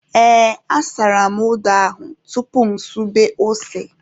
Ee, asara m odo ahụ tupu mụ esube ose.